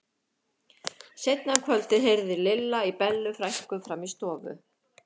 Seinna um kvöldið heyrði Lilla í Bellu frænku frammi í stofu.